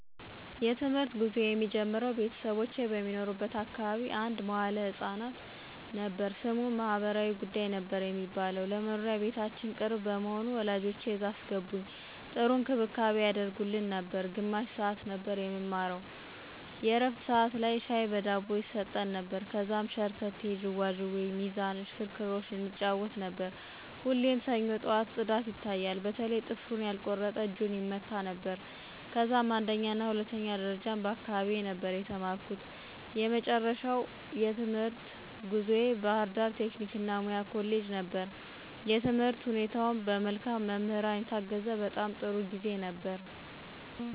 የ ትምህርት ጉዞየ የሚጀምረው ቤተሰቦቼ በሚኖሩበት አካባቢ አንድ መዋለ ህፃናት ነበር። ስሙም ማህበራዊ ጉዳይ ነበር የሚባለው። ለ መኖሪያ ቤታችን ቅርብ በመሆኑ ወላጆቼ እዛ አስገቡኝ .ጥሩ እንክብካቤ ያደርጉልን ነበር። ግማሽ ሰዓት ነበር የምንማረው የ ዕረፍት ሠዓት ላይ ሻይ በ ዳቦ ይሰጠን ነበር። ከዛም ሸርተቴ, ዥዋዥዌ, ሚዛን ,እሽክርክሮሽ እንጫወት ነበር። ሁሌም ሰኞ ጠዋት ፅዳት ይታያል በተለይ ጥፍሩን ያልቆረጠ እጁን ይመታ ነበረ። ከዛም አንደኛና ሁለተኛ ደረጃም በ አካባቢየ ነበር የተማርኩ። የመጨረሻው የትምህርት ጉዞየ ባ ህርዳር ቴክኒክ እና ሙያ ኮሌጅ ነበር። የትምህርት ሁኔታውም በ መልካም መምህራን የታገዘ በጣም ጥሩ ጊዜ ነበር።